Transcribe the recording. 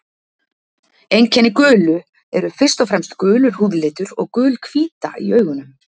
Einkenni gulu eru fyrst og fremst gulur húðlitur og gul hvíta í augunum.